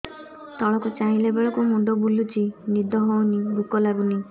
ତଳକୁ ଚାହିଁଲା ବେଳକୁ ମୁଣ୍ଡ ବୁଲୁଚି ନିଦ ହଉନି ଭୁକ ଲାଗୁନି